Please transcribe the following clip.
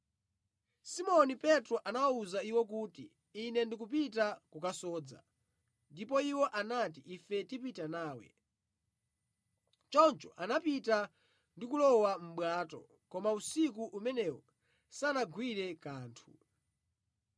Simoni Petro anawawuza iwo kuti, “Ine ndikupita kukasodza,” ndipo iwo anati, “ife tipita nawe.” Choncho anapita ndi kulowa mʼbwato, koma usiku umenewo sanagwire kanthu.